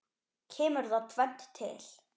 Kemur þar tvennt til.